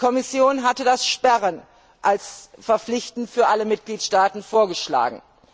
Die Kommission hatte das Sperren als verpflichtend für alle Mitgliedstaaten vorgeschlagen.